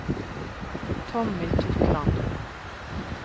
Tommy Totland